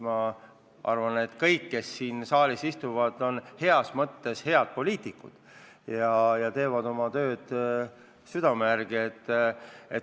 Ma arvan, et kõik, kes siin saalis istuvad, on heas mõttes poliitikud ja teevad oma tööd südame järgi.